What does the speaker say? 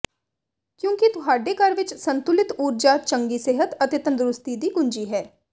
ਕਿਉਂਕਿ ਤੁਹਾਡੇ ਘਰ ਵਿਚ ਸੰਤੁਲਿਤ ਊਰਜਾ ਚੰਗੀ ਸਿਹਤ ਅਤੇ ਤੰਦਰੁਸਤੀ ਦੀ ਕੁੰਜੀ ਹੈ